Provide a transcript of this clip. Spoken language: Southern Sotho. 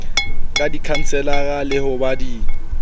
ka dikhanselara le ho ba